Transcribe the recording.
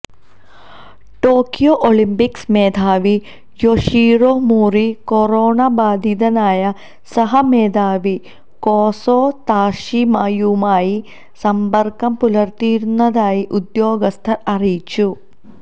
Tokyo Olympics മേധാവി Yoshiro Mori corona ബാധിതനായ സഹ മേധാവി കോസോ താഷിമയുമായി സമ്പര്ക്കം പുലര്ത്തിയിരുന്നതായി ഉദ്യോഗസ്ഥര് അറിയിച്ചു